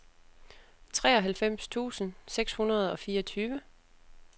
treoghalvfems tusind seks hundrede og fireogtyve